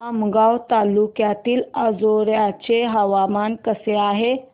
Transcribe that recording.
आमगाव तालुक्यातील अंजोर्याचे हवामान कसे आहे